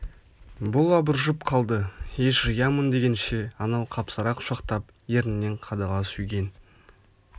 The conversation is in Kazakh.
бұл абыржып қалды ес жиямын дегенше анау қапсыра құшақтап ернінен қадала сүйген